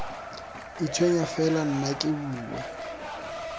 itshwenya fela nna ke bua